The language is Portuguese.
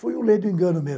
Foi um leigo engano meu.